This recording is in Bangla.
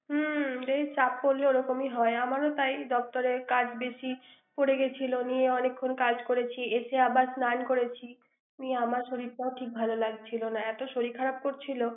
হুম বেশি চাপ পড়লে এরকমই হয় আমারও সেই দপ্তরে কাজ বেশি পড়ে গেছিল নিয়ে অনেকক্ষণ কাজ করেছি এতে আবার স্নান করেছি আমার শরীরটাও ঠিক ভালো লাগছিল না এত শরীর খারাপ করছিল ৷